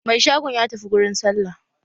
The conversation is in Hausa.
Mai shagon ya tafi gurin sallah